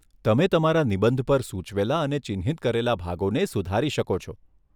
તમે તમારા નિબંધ પર સૂચવેલા અને ચિહ્નિત કરેલા ભાગોને સુધારી શકો છો.